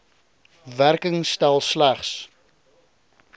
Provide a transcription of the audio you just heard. werking stel slegs